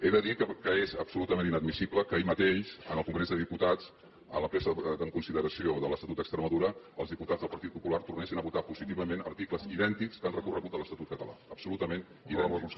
he de dir que és absolutament inadmissible que ahir mateix en el congrés dels diputats en la presa en consideració de l’estatut d’extremadura els diputats del partit popular tornessin a votar positivament articles idèntics que han recorregut de l’estatut català absolutament idèntics